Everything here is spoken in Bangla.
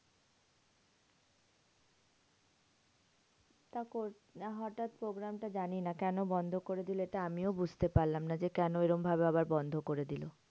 না হটাৎ program টা জানিনা, কেন বন্ধ করে দিলো? এটা আমিও বুঝতে পারলাম না যে, কেন ঐরম ভাবে আবার বন্ধ করে দিলো?